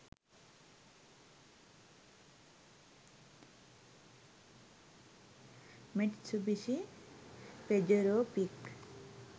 mitsubishi pajero pic